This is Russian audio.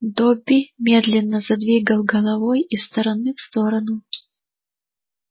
добби медленно задвигал головой из стороны в сторону